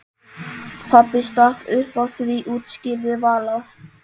Pabbi stakk upp á því útskýrði Vala.